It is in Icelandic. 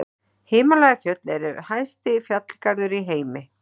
Himalajafjöll eru hæsti fjallgarður í heimi.